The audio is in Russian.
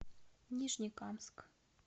нижнекамск